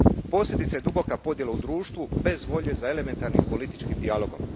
Posljedica je duboka podijela u društvu bez volje za elementarnim političkim dijalogom.